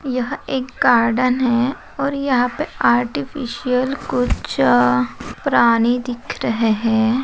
यह एक गार्डन है और यहा पे आर्टिफ़िशियल कुछ अ प्राणी दिख रहे है।